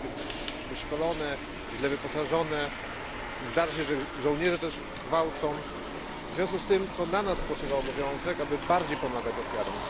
Jest ono źle wyszkolone, źle wyposażone, zdarza się, że to sami żołnierze gwałcą. W związku z tym to na nas spoczywa obowiązek, aby bardziej pomagać ofiarom.